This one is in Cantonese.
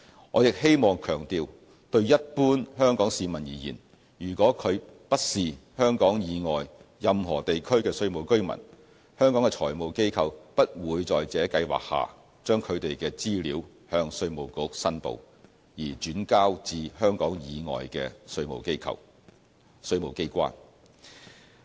我亦希望強調，對一般香港市民而言，如果他不是香港以外任何地區的稅務居民，香港的財務機構不會在這計劃下將他們的資料向稅務局申報，而轉交至香港以外的稅務機關。